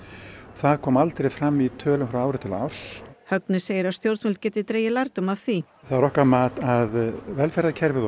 það kom aldrei fram í tölum frá ári til árs Högni segir að stjórnvöld geti dregið lærdóm af því það er okkar mat að velferðarkerfið